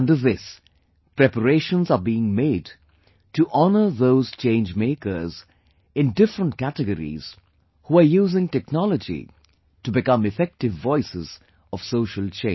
Under this, preparations are being made to honour those change makers in different categories who are using technology to become effective voices of social change